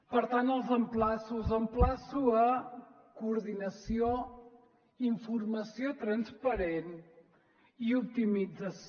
per tant els emplaço els emplaço a coordinació informació transparent i optimització